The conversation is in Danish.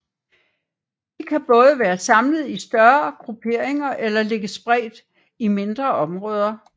De kan både være samlet i større grupperinger eller ligge spredt i mindre områder